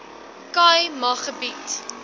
khai ma gebied